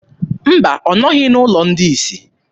Mba, ọ nọghị n'ụlọ ndị isi.